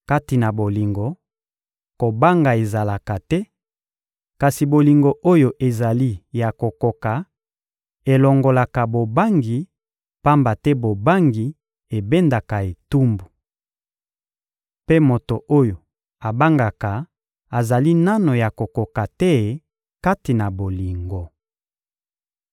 Kati na bolingo, kobanga ezalaka te; kasi bolingo oyo ezali ya kokoka elongolaka bobangi, pamba te bobangi ebendaka etumbu. Mpe moto oyo abangaka azali nanu ya kokoka te kati na bolingo.